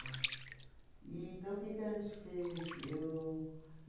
Né? Então, o que que a gente fez? Eu